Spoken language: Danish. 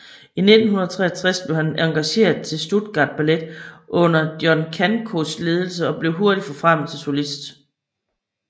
I 1963 blev han engageret til Stuttgart Ballet under John Crankos ledelse og blev hurtigt forfremmet til solist